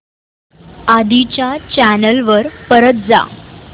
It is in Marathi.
आधी च्या चॅनल वर परत जा